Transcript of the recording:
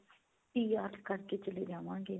PR ਕਰਕੇ ਚੱਲੇ ਜਾਵਾਂਗੇ